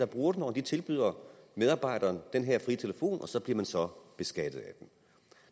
bruger den når de tilbyder medarbejderne den her frie telefon og så bliver man så beskattet af